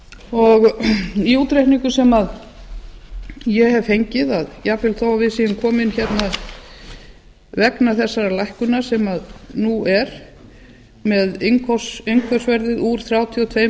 ári í útreikningum sem ég hef fengið að jafnvel þó að við séum komin hérna vegna þessarar lækkunar sem nú er með innkaupsverð úr þrjátíu og